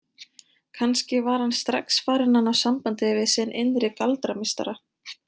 Kannski var hann strax farinn að ná sambandi við sinn innri galdrameistara.